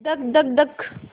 धक धक धक